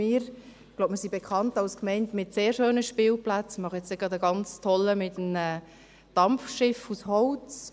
Ich glaube, wir sind bekannt als Gemeinde mit sehr schönen Spielplätzen und machen bald einen ganz tollen mit einem Dampfschiff aus Holz.